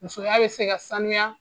Musoya be se ka sanuya